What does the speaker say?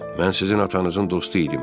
Mən sizin atanızın dostu idim.